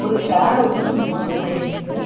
ஒரு சேர் ஒன்னு இந்த ரூம்குள்ள இருக்கு.